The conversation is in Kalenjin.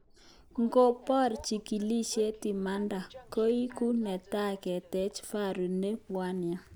Ngopor chigilishet imanda, koiku netai keteche Faru ne bwndia